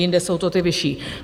Jinde jsou to ty vyšší.